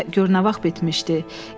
Müharibə gör nə vaxt bitmişdi?